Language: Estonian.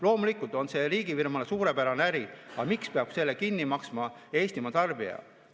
Loomulikult on see riigifirmale suurepärane äri, aga miks peab selle kinni maksma Eestimaa tarbija?